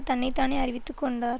தன்னை தானே அறிவித்து கொண்டார்